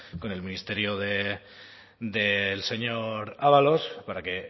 con el ministerio del señor ábalos para que